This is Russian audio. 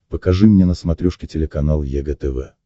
покажи мне на смотрешке телеканал егэ тв